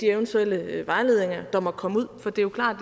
eventuelle vejledninger der måtte komme ud for det er jo klart